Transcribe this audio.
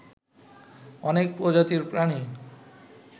অনেক প্রজাতির প্রাণী